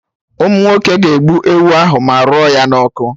Ụmụnwoke ga-egbu ewu ahụ ma rụọ ya na ọkụ